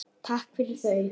Takk fyrir þau.